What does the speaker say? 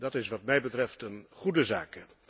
Dat is wat mij betreft een goede zaak.